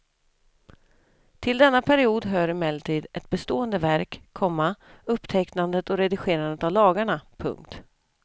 Till denna period hör emellertid ett bestående verk, komma upptecknandet och redigerandet av lagarna. punkt